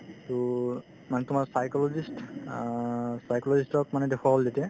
to মানুহতো মানে psychologist অ psychologist ক মানে দেখুৱা হ'ল যেতিয়া